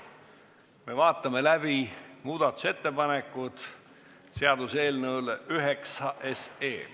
Me vaatame läbi muudatusettepanekud seaduseelnõu nr 9 kohta.